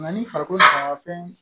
Nka ni farikolo faga fɛn